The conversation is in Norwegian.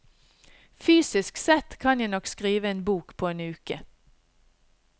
Fysisk sett kan jeg nok skrive en bok på en uke.